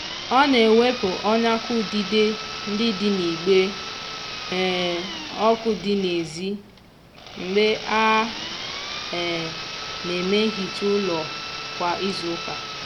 ọ na-ewepụ ọnyakọ udide ndị dị n'igbe um ọkụ dị n'ezi mgbe a um na-eme nhicha ụlọ kwa izuụka. um